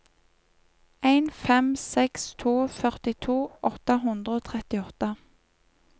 en fem seks to førtito åtte hundre og trettiåtte